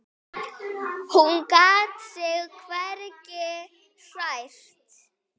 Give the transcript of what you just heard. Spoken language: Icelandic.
Hún gat sig hvergi hrært.